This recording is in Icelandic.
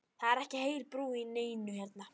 Það er ekki heil brú í neinu hérna!